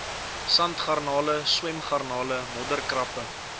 sandgarnale swemgarnale modderkrappe